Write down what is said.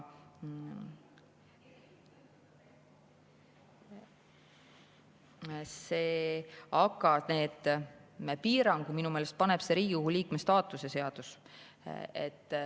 Need piirangud minu meelest paneb Riigikogu liikme staatuse seadus.